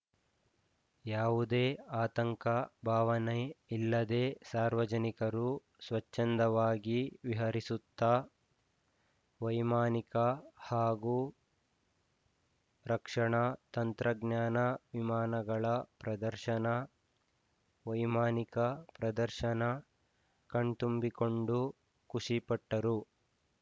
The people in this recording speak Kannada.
ಯಾವುದೇ ಆತಂಕ ಭಾವನೆ ಇಲ್ಲದೆ ಸಾರ್ವಜನಿಕರು ಸ್ವಚ್ಛಂದವಾಗಿ ವಿಹರಿಸುತ್ತಾ ವೈಮಾನಿಕ ಹಾಗೂ ರಕ್ಷಣಾ ತಂತ್ರಜ್ಞಾನ ವಿಮಾನಗಳ ಪ್ರದರ್ಶನ ವೈಮಾನಿಕ ಪ್ರದರ್ಶನ ಕಣ್ತುಂಬಿಕೊಂಡು ಖುಷಿಪಟ್ಟರು